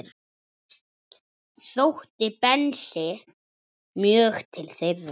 Sótti Bensi mjög til þeirra.